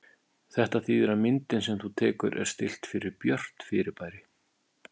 Þetta þýðir að myndin sem þú tekur er stillt fyrir björt fyrirbæri.